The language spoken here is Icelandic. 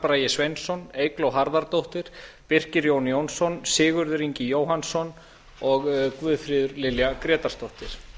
bragi sveinsson eygló harðardóttir birkir jón jónsson sigurður ingi jóhannsson og guðfríður lilja grétarsdóttir